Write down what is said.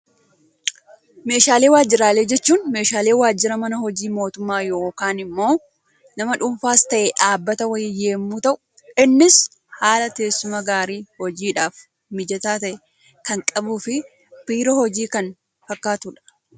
Meeshaalee waajiraalee jechuun, meeshaalee waajira mana hojii mootummaa yookaan immoo nama dhuunfaas ta'ee dhaabbata wayii yemmuu ta'u, innis haala teessuma gaarii hojiidhaaf mijataa ta'e kan qabuu fi biiroo hojii kan fakkaatudha.